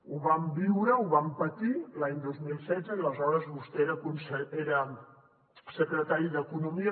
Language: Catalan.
ho vam viure ho vam patir l’any dos mil setze i aleshores vostè era secretari d’economia